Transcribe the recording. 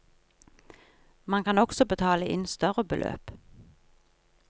Man kan også betale inn større beløp.